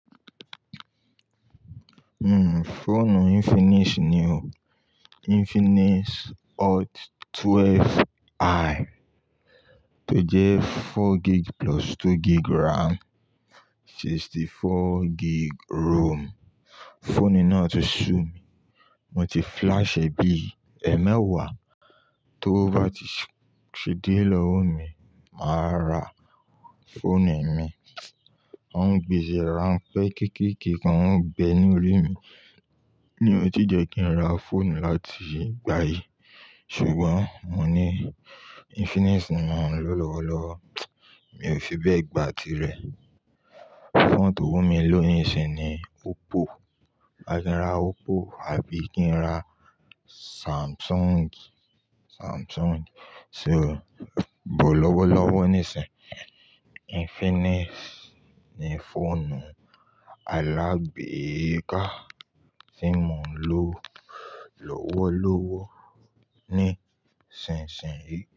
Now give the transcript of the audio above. Hmm, fónú Infinix ni o. Infinix Hot 12i tó jẹ́ four gig plus two gig RAM, sixty-four gig ROM. Fónù náà ti sú mi. Mo ti flash bí, ẹ̀mẹ́wàá tó bá ti ti dé lọ́wọ́ mi, màá ra fónù ẹ̀mi. Wọ́n ń gbéṣẹ́, ran pẹ́ kekeke kan, wọ́n ń bẹ ní orí mi. Ni ò tí jẹ́ kí n ra fónù láti ìgbà yìí. Ṣùgbọ́n mò ń ní Infinix mò ń lò lọ́wọ́lọ́wọ́. Mi ò fi bẹ́ gbà tirẹ̀. Fónù tó wù mí lónìsị̀n ni Oppo. Abi kí n ra Oppo àbí kí n ra Samsung, Samsung ṣe ò bọ̀ lọ́wọ́lọ́wọ́ nísị̀n. Infinix ni fónù alágbèéká tí mò ń lò lọ́wọ́lọ́wọ́ ní ìsinsìn yí.